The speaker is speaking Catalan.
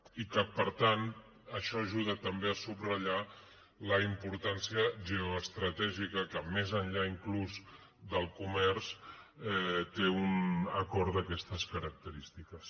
i per tant això ajuda també a subratllar la importància geoestratègica que més enllà inclús del comerç té un acord d’aquestes característiques